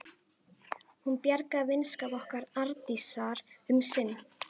Hún bjargaði vinskap okkar Arndísar um sinn.